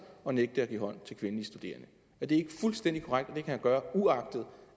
og nægte at give hånd til kvindelige studerende er det ikke fuldstændig korrekt at det han gøre uagtet